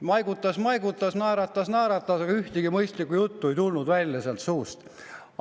Maigutas, maigutas, naeratas, naeratas, aga mingit mõistlikku juttu ei tulnud tema suust.